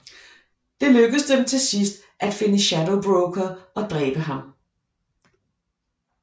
Det lykkes dem til sidst at finde Shadow Broker og dræbe ham